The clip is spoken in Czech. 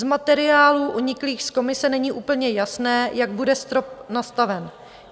Z materiálů uniklých z Komise není úplně jasné, jak bude strop nastaven.